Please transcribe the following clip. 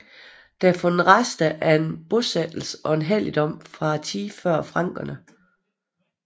Der er fundet rester af en bosættelse og en helligdom fra tiden før frankerne